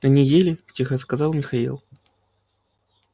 они ели тихо сказал михаил